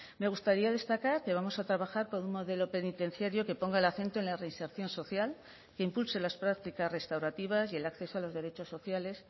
me gustaría destacar que vamos a trabajar por un modelo penitenciario que ponga el acento en la reinserción social que impulse las prácticas restaurativas y el acceso a los derechos sociales